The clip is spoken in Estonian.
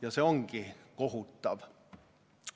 Ja see ongi kohutav.